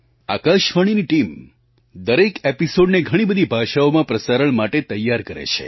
આકાશવાણીની ટીમ દરેક એપિસૉડને ઘણીબધી ભાષાઓમાં પ્રસારણ માટે તૈયાર કરે છે